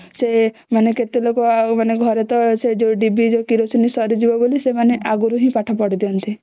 ସେ ମାନେ କେତେ ଲୋକ ମାନେ ସେ ଘରେ ଟା ସେ ଡିବି ଯୋଉ କିରୋସିନ ସରିଯିବା ବୋଲି ସେମାନେ ଆଗରୁ ହିଁ ପାଠ ପଢି ଦିଅନ୍ତି